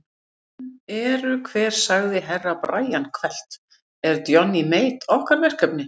Sem eru hver sagði Herra Brian hvellt, er Johnny Mate okkar verkefni?